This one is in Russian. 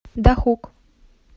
дахук